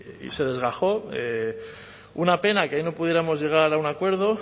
y se desgajó una pena que ahí no pudiéramos llegar a un acuerdo